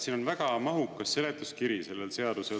Siin on väga mahukas seletuskiri sellel seadusel.